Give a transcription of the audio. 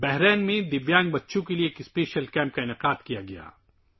بحرین میں معذور بچوں کے لیے خصوصی کیمپ کا انعقاد کیا گیا